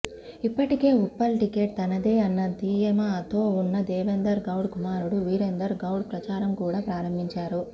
ఇప్పటికే ఉప్పల్ టిక్కెట్ తనదే అన్న ధీమాతో ఉన్న దేవేందర్ గౌడ్ కుమారుడు వీరేందర్ గౌడ్ ప్రచారం కూడా ప్రారంభించారు